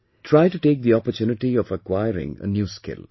Try to take the opportunity of acquiring a new skill